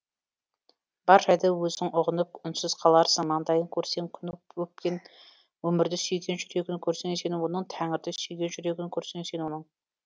бар жайды өзің ұғынып үнсіз қаларсың маңдайын көрсең күн өпкен өмірді сүйген жүрегін көрсең сен оның тәңірді сүйген жүрегін көрсең сен оның